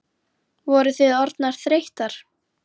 Voru þið orðnar þreyttar?